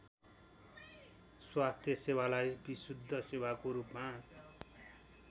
स्वास्थ्यसेवालाई विशुद्ध सेवाको रूपमा